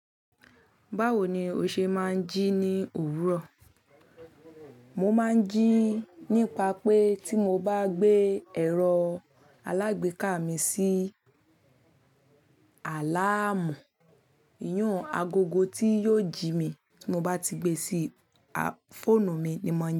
Báwo ni o ṣe máa ń jí ní òwúrọ̀? Mo máa ń jí nípa pé tí mo bá gbé ẹ̀rọ alágbèéká mi sí àláàmù, iyùn agogo tí yóò jí mi tí mo bá ti gbé e sí fóònù mi ni mo ń jí.